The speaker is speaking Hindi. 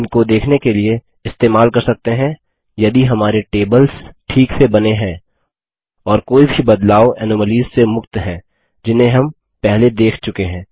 इनको देखने के लिए इस्तेमाल कर सकते हैं यदि हमारे टेबल्स a ठीक से बने हैं और b कोई भी बदलाव एनोमलीस से मुक्त हैं जिन्हें हम पहले देख चुके हैं